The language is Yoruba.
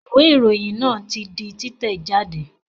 Ìwé ìròyìn náà ti di títẹ̀ jáde